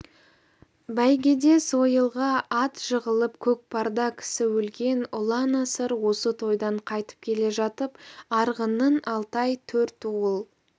бәйгеде сойылға ат жығылып көкпарда кісі өлген ұлан-асыр осы тойдан қайтып келе жатып арғынның алтай төртуыл